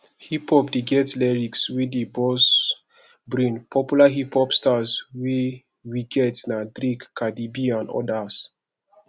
hip hop dey get lyrics wey dey burst brain popular hiphop stars wey we get na drake cardieb and odas